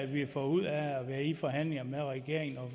vi har fået ud af at være i forhandlinger med regeringen og